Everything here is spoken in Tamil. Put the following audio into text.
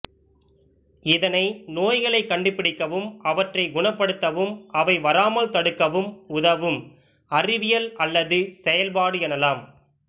இதனை நோய்களைக் கண்டுபிடிக்கவும் அவற்றை குணப்படுத்தவும் அவை வராமல் தடுக்கவும் உதவும் அறிவியல் அல்லது செயல்பாடு எனலாம்